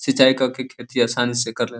सिंचाई क के खेती आसानी से कर ले --